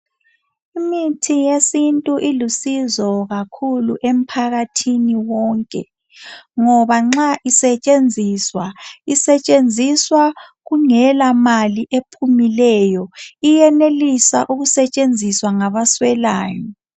Imithi yesintu ilusizo kakhulu emphakathini wonke .Ngoba nxa isetshenziswa .Isetshenziswa kungela mali ephumileyo .Iyenelisa ukusetshenziswa ngaba swelayo .